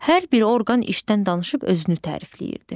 Hər bir orqan işdən danışıb özünü tərifləyirdi.